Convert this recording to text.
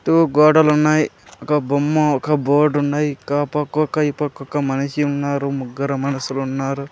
--To గోడలు ఉన్నాయి ఒక బొమ్మ ఒక బోర్డ్ ఉన్నాయి ఇంకా ఆ పక్క ఒక్క ఈ పక్క ఒక్క మనిషి ఉన్నారు ముగ్గుర మనుసులు ఉన్నారు.